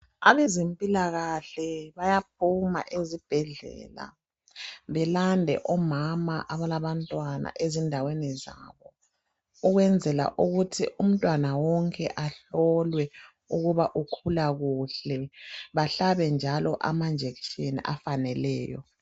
Abezempilakahle bayaphuma ezibhedlela belande omama abalabantwana ezindaweni zabo ukwenzela ukuthi umntwana wonke ahlolwe ukuba ukhula kuhle bahlabe njalo amajekiseni afaneleyo.